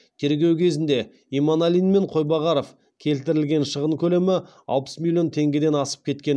тергеу кезінде иманалин мен қойбағаров келтірген шығын көлемі алпыс миллион теңгеден асып кеткен